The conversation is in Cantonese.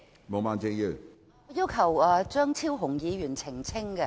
我要求張超雄議員作出澄清。